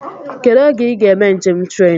Kedụ oge I ga eme njem tren?